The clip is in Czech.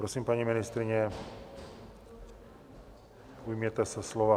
Prosím, paní ministryně, ujměte se slova.